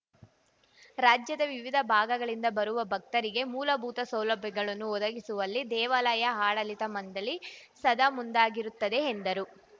ರಾಜ್ಯದ ವಿವಿಧ ಭಾಗಗಳಿಂದ ಬರುವ ಭಕ್ತರಿಗೆ ಮೂಲಭೂತ ಸೌಲಭ್ಯಗಳನ್ನು ಒದಗಿಸುವಲ್ಲಿ ದೇವಾಲಯ ಆಡಳಿತ ಮಂಡಳಿ ಸದಾ ಮುಂದಾಗಿರುತ್ತದೆ ಎಂದರು